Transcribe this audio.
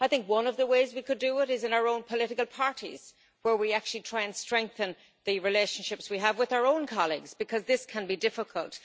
One of the ways we could it is in our own political parties, where we could try and strengthen the relationships we have with our own colleagues because this can be difficult.